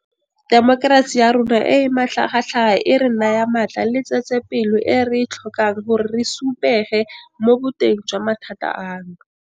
Temokerasi ya rona e e matlhagatlhaga e re naya matla le tsetsepelo e re e tlhokang gore re supuge mo boteng jwa mathata ano.